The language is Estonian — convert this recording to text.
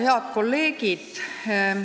Head kolleegid!